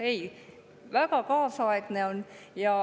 Ei, väga kaasaegne on.